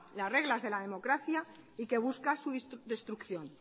las reglas de la democracia y que busca su destrucción